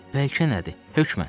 Bəlkə nədir, hökmən.